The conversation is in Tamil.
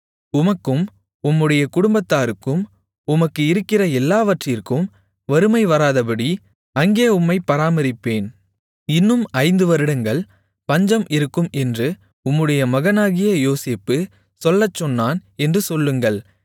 உமக்கும் உம்முடைய குடும்பத்தாருக்கும் உமக்கு இருக்கிற எல்லாவற்றிற்கும் வறுமை வராதபடி அங்கே உம்மைப் பராமரிப்பேன் இன்னும் ஐந்து வருடங்கள் பஞ்சம் இருக்கும் என்று உம்முடைய மகனாகிய யோசேப்பு சொல்லச்சொன்னான் என்று சொல்லுங்கள்